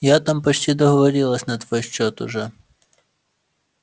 я там почти договорилась на твой счёт уже